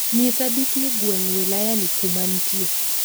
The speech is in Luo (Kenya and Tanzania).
Nyisa dukni gweng' wilayani kuma ntie